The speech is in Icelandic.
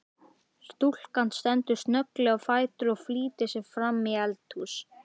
Stúlkan stendur snögglega á fætur og flýtir sér framí eldhús.